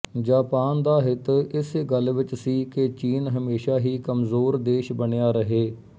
Japan ਦਾ ਹਿੱਤ ਇਸੇ ਗੱਲ ਵਿੱਚ ਸੀ ਕਿ ਚੀਨ ਹਮੇਸ਼ਾ ਹੀ ਕਮਜ਼ੋਰ ਦੇਸ਼ ਬਣਿਆ ਰਹੇ